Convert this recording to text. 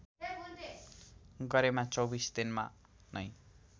गरेमा २४ दिनमा नै